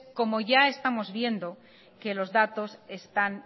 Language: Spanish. como ya estamos viendo que los datos están